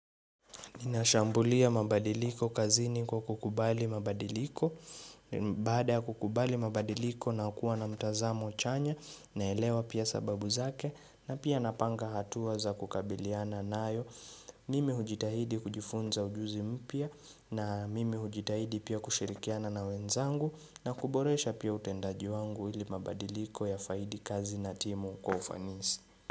Ninashambulia mabadiliko kazini kwa kukubali mabadiliko, baada ya kukubali mabadiliko na kuwa na mtazamo chanya na elewa pia sababu zake na pia napanga hatua za kukabiliana nayo. Mimi hujitahidi kujifunza ujuzi mpya na mimi hujitahidi pia kushirikiana na wenzangu na kuboresha pia utendaji wangu ili mabadiliko ya faidi kazi na timu kwa ufanisi.